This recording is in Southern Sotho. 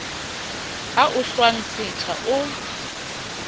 a o hlwang setha o